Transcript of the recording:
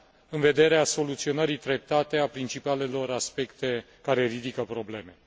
în vederea soluționării treptate a principalelor aspecte care ridică probleme.